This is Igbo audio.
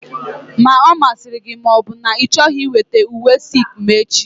Ma ọ masịrị gị ma ọ bụ na ị chọghị weta uwe silk m echi!